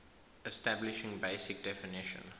establishing basic definition